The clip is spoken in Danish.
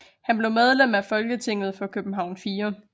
Han blev medlem af Folketinget for København 4